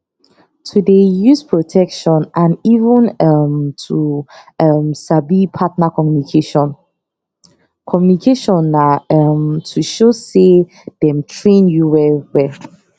to dey use protection and even um to um sabi partner communication communication na um to show say dem train you well wel